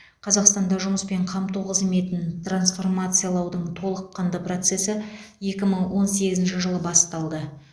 қазақстанда жұмыспен қамту қызметін трансформациялаудың толыққанды процесі екі мың он сегізінші жылы басталды